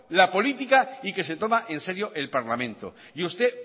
la política y que se toma en serio el parlamento y usted